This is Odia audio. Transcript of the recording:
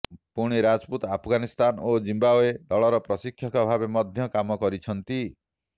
ପୁଣି ରାଜପୁତ ଆଫ୍ଗାନିସ୍ତାନ ଓ ଜିମ୍ବାୱେ ଦଳର ପ୍ରଶିକ୍ଷକ ଭାବେ ମଧ୍ୟ କାମ କରିଛନ୍ତି